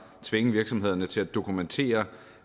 tvinge virksomhederne til at dokumentere